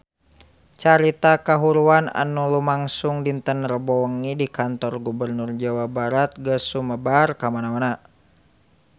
Carita kahuruan anu lumangsung dinten Rebo wengi di Kantor Gubernur Jawa Barat geus sumebar kamana-mana